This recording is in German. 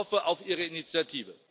Ich hoffe auf ihre Initiative!